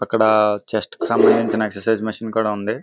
అక్కడ చెస్ట్ కి సంబంధించిన ఎక్ససైజ్ మిషను కూడా ఉంది